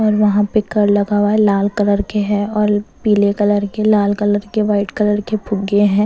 और वहाँ पे कर लगा हुआ है लाल कलर के हैं और पीले कलर के लाल कलर के व्हाईट कलर के फुगे हैं।